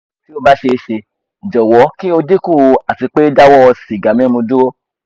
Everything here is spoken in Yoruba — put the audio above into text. ti o ba ṣee ṣe jọwọ ki o dinku ati pe dawo siga mimu duro